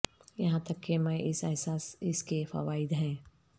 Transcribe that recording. یہاں تک کہ میں اس احساس اس کے فوائد ہیں